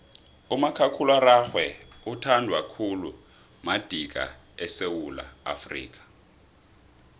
umakhakhulararhwe uthandwa khulu madika esewula afrika